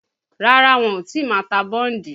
Rárá wọn ò tí ì ma ta bọ́ǹdì